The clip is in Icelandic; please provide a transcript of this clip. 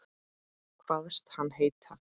Kvaðst hann heita